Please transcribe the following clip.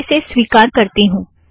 मैं इसे स्वीकार करती हूँ